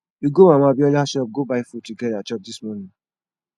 we go mama abiola shop go buy food together chop dis morning